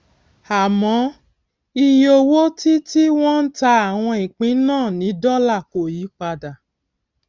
àmọ iye owó tí tí wọn ń ta àwọn ìpín náà ní dólà kò yí padà